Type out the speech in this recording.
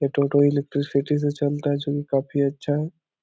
यह टोटो इलेक्ट्रिसिटी से चालता है जो की काफी अच्छा है।